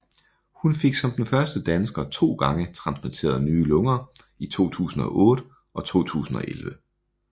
Hun fik som den første dansker to gange transplanteret nye lunger i 2008 og 2011